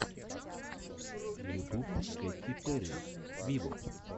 ютуб кэти перри виво